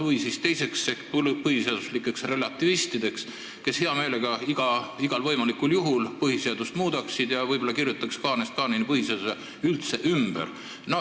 Teised – nimetame neid põhiseaduslikeks relativistideks – muudaks põhiseadust hea meelega igal võimalikul juhul ja võib-olla kirjutaks põhiseaduse kaanest kaaneni üldse ümber.